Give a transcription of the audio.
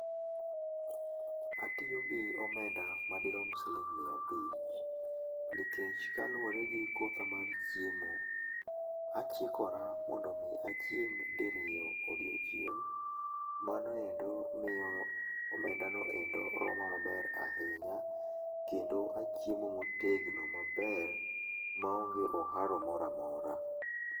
Atiyo gi omenda madirom siling'ä miya abich nikech kaluwore gi kotha mar chiemo, achikora mondo mi achiem diriyo odiechieng', mano endo miyo omenda noendo roma maber ahinya kendo achiemo motegno maber maonge oharo moro amora.